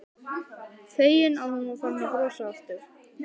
Feginn að hún var farin að brosa aftur.